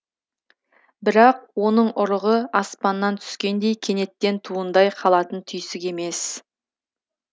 бірақ оның ұрығы аспаннан түскендей кенеттен туындай қалатын түйсік емес